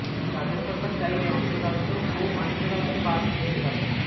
রাজ্য সরকার চাইলে অন্তঃরাজ্য ও আন্তঃরাজ্য বাস চলতে পারে